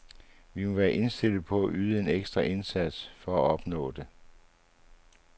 Vi må være indstillet på at yde en ekstra indsats for at opnå det.